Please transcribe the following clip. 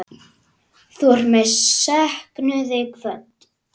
Þú ert með söknuði kvödd.